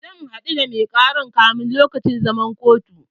Zan haɗu da mai ƙaran kafin lokacin zaman kotun